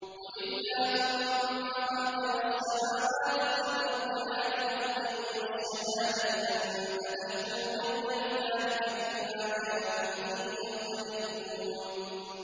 قُلِ اللَّهُمَّ فَاطِرَ السَّمَاوَاتِ وَالْأَرْضِ عَالِمَ الْغَيْبِ وَالشَّهَادَةِ أَنتَ تَحْكُمُ بَيْنَ عِبَادِكَ فِي مَا كَانُوا فِيهِ يَخْتَلِفُونَ